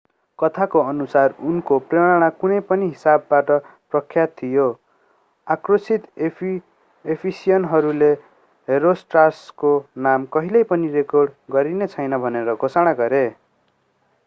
कथाको अनुसार उनको प्रेरणा कुनै पनि हिसाबमा प्रख्यात थियो आक्रोशित एफिसियनहरूले हेरोस्ट्राटसको नाम कहिल्यै पनि रेकर्ड गरिने छैन भनेर घोषणा गरे